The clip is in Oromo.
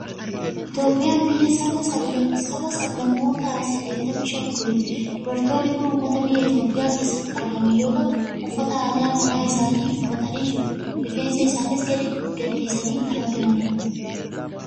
Itoophiyaa biyya Saba, sabaa fi sablammoota saddeettamii shanii oliiti. Dubartoonni kun uummata biyya Itoophiyaa keessatti argaman yoo ta'u, uffata aadaa mataa isaanii uffatanii jiru. Rifeensa isaanii gadi gadhiisanii kan argamanidha.